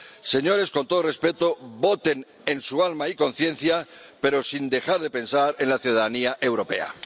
Señores, con todo el respeto, voten en su alma y conciencia, pero sin dejar de pensar en la ciudadanía europea.